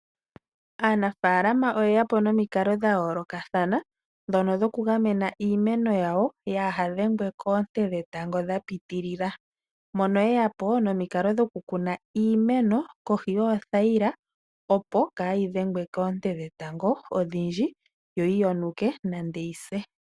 Aanafalama oyeya po nomikalo dha yoolokathana ndhono dhoku gamena iimeno yawo kaayi dhengwe koonte dhetango dha piitilila, mono yeya po nomikalo dhoku kuna iimeno kohi yoothayila, opo kayii dhengwe koonte dhetango odhindji yo yi yonuke nenge yi se.